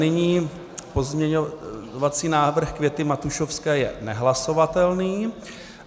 Nyní pozměňovací návrh Květy Matušovské je nehlasovatelný.